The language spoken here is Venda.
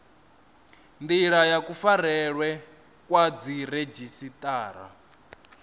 ndila ya kufarelwe kwa dziredzhisiṱara